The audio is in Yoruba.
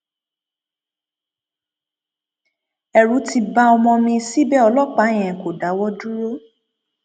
ẹrù ti ba ọmọ mi síbẹ ọlọpàá yẹn kò dáwọ dúró